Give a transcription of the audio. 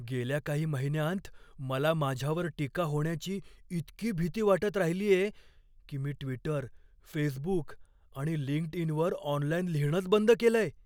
गेल्या काही महिन्यांत मला माझ्यावर टीका होण्याची इतकी भीती वाटत राहिलीये, की मी ट्विटर, फेसबुक आणि लिंक्डइनवर ऑनलाइन लिहिणंच बंद केलंय.